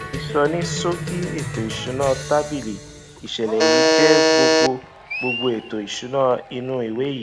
ìsọníṣókí ètò ìsúná tábìlì ìṣẹlẹ yìí jé gbogbo gbogbo ètò ìsúná inú ìwé yii